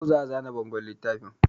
Yau za a zana bangon littafin